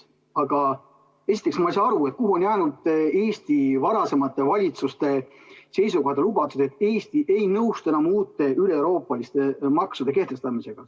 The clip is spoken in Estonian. Aga esiteks ei saa ma aru, kuhu on jäänud Eesti varasemate valitsuste seisukohad ja lubadused, et Eesti ei nõustu enam uute üleeuroopaliste maksude kehtestamisega.